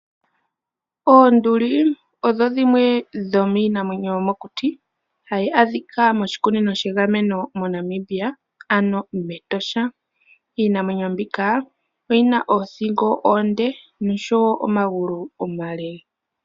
Oonduli odho dhimwe dhomiinamwenyo yomokuti hayi adhika moshikunino shegameno moNamibia ano mEtosha. Iinamwenyo mbika oyi na oothingo oonde noshowo omagulu omale.